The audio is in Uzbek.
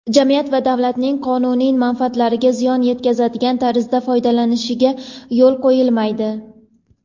jamiyat va davlatning qonuniy manfaatlariga ziyon yetkazadigan tarzda foydalanishiga yo‘l qo‘yilmaydi.